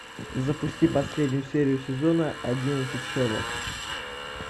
запусти последнюю серию сезона одиннадцать шерлок